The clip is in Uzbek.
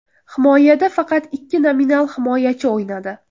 Himoyada faqat ikki nominal himoyachi o‘ynadi.